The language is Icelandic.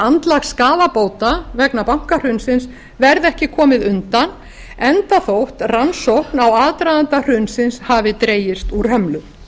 andlag skaðabóta vegna bankahrunsins verði ekki komið undan enda þótt rannsókn á aðdraganda hrunsins hafi dregist úr hömlu